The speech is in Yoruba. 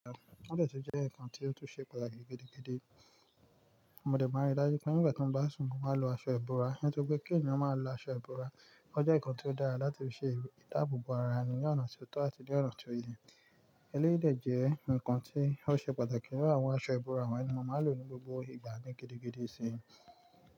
O de tun jẹ́ nǹkan tí ó tún ṣe pàtàkì gidi gidi. Mo dẹ̀ bá rí dájú pé nígbà tí mo bá sùn mo máa lo aṣọ ìbora. Nítorí pé kí ènìyàn máa lo aṣọ ìbora ó jẹ́ nǹkan tí ó dára láti fi ṣe ìdáàbò bo ara ẹni ní ọ̀nà tí ó tọ́ àti ní ọ̀nà tí ó yẹ. Elẹ́yi de jẹ́ nǹkan tí ó ṣe pàtàkì nínu àwọn aṣọ ìbora wonyii mó máa ń lò ní gbogbo ìgbà ni gidi gidi sí ni.